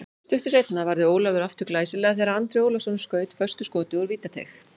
Stuttu seinna varði Ólafur aftur glæsilega þegar Andri Ólafsson skaut föstu skoti úr vítateig.